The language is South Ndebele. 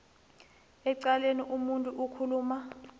ecaleni umuntu okhuluma